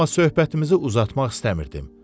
Amma söhbətimizi uzatmaq istəmirdim.